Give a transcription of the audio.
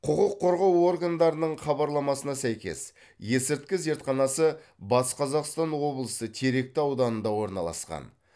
құқық қорғау органдарының хабарламасына сәйкес есірткі зертханасы батыс қазақстан облысы теректі ауданында орналасқан